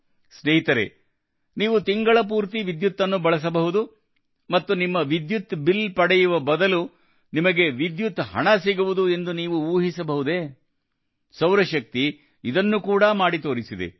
ಸ್ನೇಹಿತರೇ ನೀವು ತಿಂಗಳಪೂರ್ತಿ ವಿದ್ಯುತ್ ಅನ್ನು ಬಳಸಬಹುದು ಮತ್ತು ನಿಮ್ಮ ವಿದ್ಯುತ್ ಬಿಲ್ ಪಡೆಯುವ ಬದಲು ನಿಮಗೆ ವಿದ್ಯುತ್ ಹಣ ಸಿಗುವುದು ಎಂದು ನೀವು ಊಹಿಸಬಹುದೇ ಸೌರಶಕ್ತಿ ಇದನ್ನು ಕೂಡ ಮಾಡಿ ತೋರಿಸಿದೆ